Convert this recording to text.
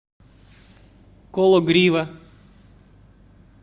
кологрива